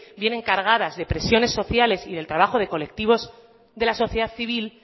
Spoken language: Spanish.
vienen cargadas de presiones sociales y del trabajo de colectivos de la sociedad civil